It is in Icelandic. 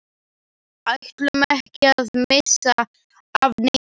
Ætluðum ekki að missa af neinu.